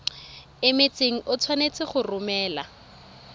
emetseng o tshwanetse go romela